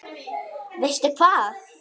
Veistu hvað?